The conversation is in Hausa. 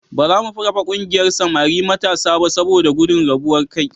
Ba za mu kafa ƙungiyar samari matasa ba saboda gudun rabuwar kai.